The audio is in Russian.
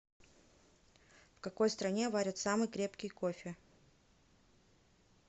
в какой стране варят самый крепкий кофе